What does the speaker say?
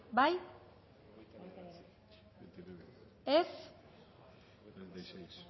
bozkatu dezakegu